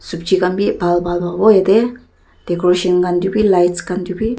subji khan vi bhal bhal pavo ete decoration khan tae vi lights khan tae vi.